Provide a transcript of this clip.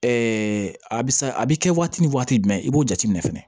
a bɛ sa a bɛ kɛ waati ni waati jumɛn i b'o jateminɛ fɛnɛ